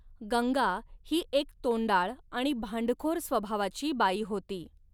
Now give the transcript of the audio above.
गंगा ही एक तोंडाळ आणि भांडखोर स्वभावाची बाई होती.